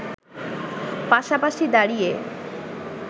পাশাপাশি দাঁড়িয়ে